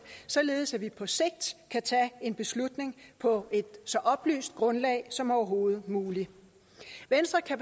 således at vi på sigt kan tage en beslutning på et så oplyst grundlag som overhovedet muligt venstre kan